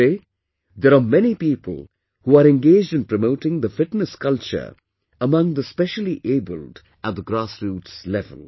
Today there are many people who are engaged in promoting the fitness culture among the speciallyabled at the grassroots level